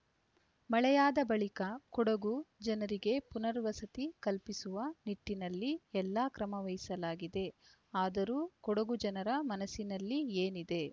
ಮಳೆಯಾದ ಬಳಿಕ ಕೊಡಗು ಜನರಿಗೆ ಪುನರ್ವಸತಿ ಕಲ್ಪಿಸುವ ನಿಟ್ಟಿನಲ್ಲಿ ಎಲ್ಲಾ ಕ್ರಮ ವಹಿಸಲಾಗಿದೆ ಆದರೂ ಕೊಡಗು ಜನರ ಮನಸ್ಸಿನಲ್ಲಿ ಏನಿದೆ